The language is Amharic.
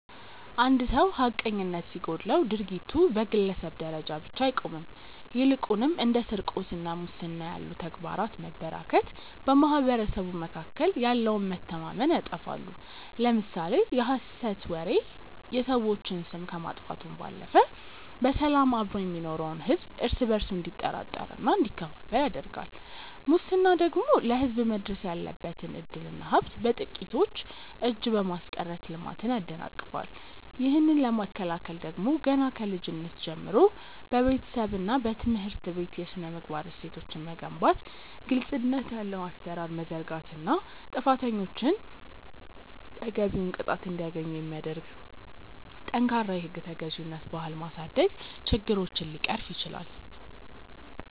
አንድ ሰው ሐቀኝነት ሲጎድለው ድርጊቱ በግለሰብ ደረጃ ብቻ አይቆምም ይልቁንም እንደ ስርቆትና ሙስና ያሉ ተግባራት መበራከት በማኅበረሰቡ መካከል ያለውን መተማመን ያጠፋሉ። ለምሳሌ የሐሰት ወሬ የሰዎችን ስም ከማጥፋቱም ባለፈ በሰላም አብሮ የሚኖረውን ሕዝብ እርስ በእርሱ እንዲጠራጠርና እንዲከፋፈል ያደርጋል ሙስና ደግሞ ለሕዝብ መድረስ ያለበትን ዕድልና ሀብት በጥቂቶች እጅ በማስቀረት ልማትን ያደናቅፋል። ይህንን ለመከላከል ደግሞ ገና ከልጅነት ጀምሮ በቤተሰብና በትምህርት ቤት የሥነ-ምግባር እሴቶችን መገንባት ግልጽነት ያለው አሠራር መዘርጋትና ጥፋተኞች ተገቢውን ቅጣት እንዲያገኙ የሚያደርግ ጠንካራ የሕግ ተገዥነት ባህል ማሳደግ ችግሮችን ሊቀርፍ ይችላል።